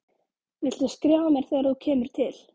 Viltu skrifa mér þegar þú kemur til